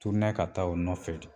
ka taa o nɔfɛ t